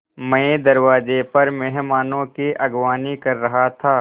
मैं दरवाज़े पर मेहमानों की अगवानी कर रहा था